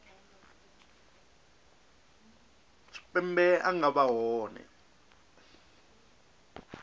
tshipembe a nga vha hone